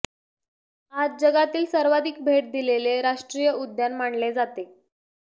आज जगातील सर्वाधिक भेट दिलेले राष्ट्रीय उद्यान मानले जाते